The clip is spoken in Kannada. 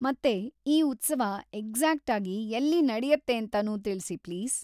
ಮತ್ತೆ ಈ ಉತ್ಸವ ಎಕ್ಸಾಕ್ಟಾಗಿ ಎಲ್ಲಿ ನಡೆಯುತ್ತೇಂತನೂ ತಿಳ್ಸಿ ಪ್ಲೀಸ್.